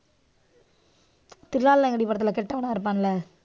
தில்லாலங்கடி படத்துல கெட்டவனா இருப்பான்ல.